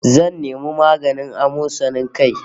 Zan nemi maganin amosanin kai